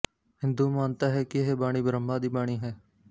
ਹਿੰਦੂ ਮਾਨਤਾ ਹੈ ਕਿ ਇਹ ਬਾਣੀ ਬ੍ਰਹਮਾ ਦੀ ਬਾਣੀ ਹੈ